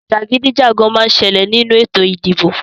Jàgídíjàgán má ń ṣẹlẹ̀ nínú ètò ìdìbò